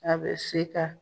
A be se ka